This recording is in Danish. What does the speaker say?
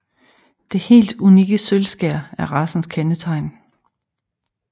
Det helt unikke sølvskær er racens kendetegn